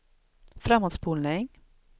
framåtspolning